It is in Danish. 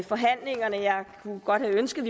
forhandlingerne jeg kunne godt have ønsket